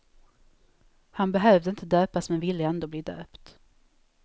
Han behövde inte döpas men ville ändå bli döpt.